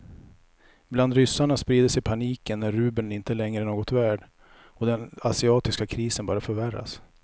Bland ryssarna sprider sig paniken när rubeln inte längre är något värd och den asiatiska krisen bara förvärras.